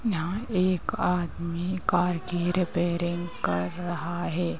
यहाँ एक आदमी कार की रिपेरिंग कर रहा है।